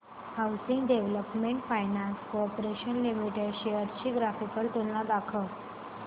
housing Development Finance Corporation Limited shares ची graphical तुलना दाखव